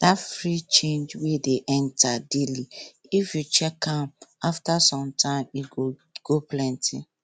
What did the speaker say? that small change wey dey enter daily if you check am after some time e go plenty